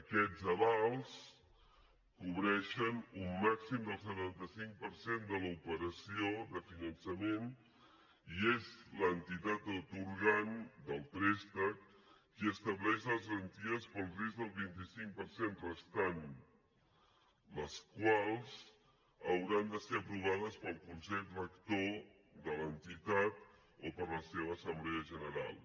aquests avals cobreixen un màxim del setanta cinc per cent de l’operació de finançament i és l’entitat atorgant del préstec qui estableix les garanties pel risc del vint cinc per cent restant les quals hauran de ser aprovades pel consell rector de l’entitat o per la seva assemblea general